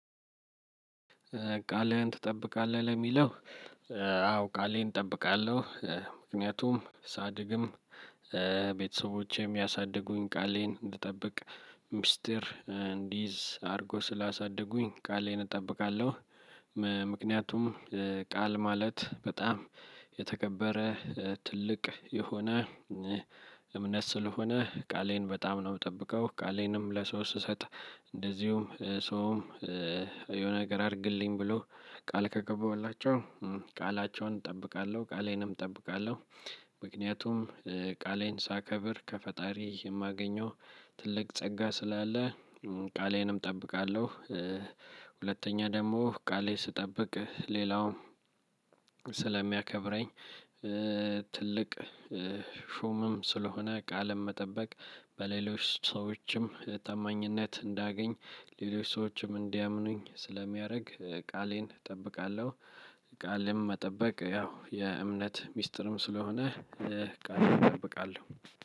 ቃልህን ትጠብቃለህ ለሚለው? አዎ ቃሌን እጠብቃለው ምክንያቱም ሳድግም ቤተሰቦቼም ያሳደጉኝ ቃሌን እንድጠብቅ ሚስጥር እንድይዝ አድርገው ስላሳደጉኝ ቃሌን እጠብቃለሁ። ምክንያቱም ቃል ማለት በጣም የተከበረ ትልቅ የሆነ እምነት ስለሆነ ቃሌን በጣም ነው የምጠብቀው። ቃሌንም ለስው ስሰጥ እንደዚሁም ሰውም የሆነ ነገር አድርግልኝ ብሎ ቃል ከገባሁላቸው ቃላቸውን እጠብቃለው ቃሌንም እጠብቃለው። ምክንያቱም ቃሌን ሳከብር ከፈጣሪ የማገኘው ትልቅ ጸጋ ስላለ ቃሌንም እጠብቃለሁ። ሁለተኛ ደግሞ ቃሌን ስጠብቅ ሌላውም ስለሚያከብረኝ ትልቅ ሹምም ስለሆነ ቃልን መጠበቅ በሌሎች ሰዎችም ታማኝነት እንዳገኝ ሌሎች ሰዎችም እንዲያምኑኝ ስለሚያደርግ ቃሌን እጠብቃለሁ። ቃልን መጠበቅ ያው የእምነት ሚስጥርም ስለሆነ ቃሌን እጠብቃለሁ።